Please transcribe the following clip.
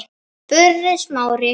spurði Smári.